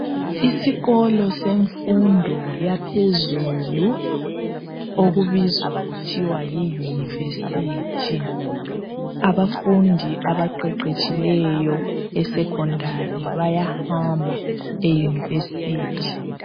Isikolo semfundo yaphezulu okubizwa kuthiwa yi university, abafundi abaqeqetshieleyo esecondary bayahamba e university